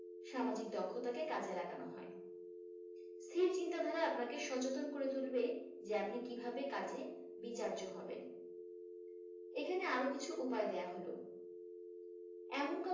সামাজিক দক্ষতাকে কাজে লাগানো হয় অস্থির চিন্তাধারা আপনাকে সচেতন করে তুলবে যে আপনি কিভাবে কাজে বিচার্য হবেন। এখানে আরও কিছু উপায় দেয়া হলো। এমন